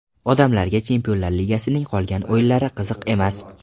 Odamlarga Chempionlar ligasining qolgan o‘yinlari qiziq emas.